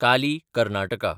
Kali - Karnataka